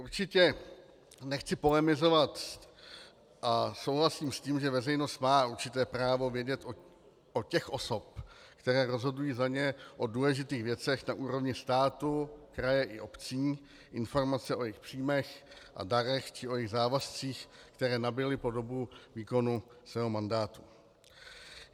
Určitě nechci polemizovat a souhlasím s tím, že veřejnost má určité právo vědět od těch osob, které rozhodují za ně o důležitých věcech na úrovni státu, kraje i obcí, informace o jejich příjmech a darech či o jejich závazcích, které nabyli po dobu výkonu svého mandátu.